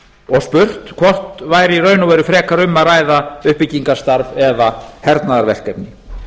og spurt hvort væri í raun og veru frekar um að ræða uppbyggingarstarf eða hernaðarverkefni